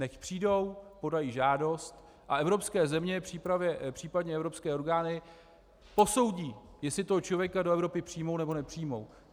Nechť přijdou, podají žádost, a evropské země, případně evropské orgány posoudí, jestli toho člověka do Evropy přijmou, nebo nepřijmou.